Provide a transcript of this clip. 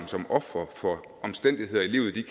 som ofre for omstændigheder i livet de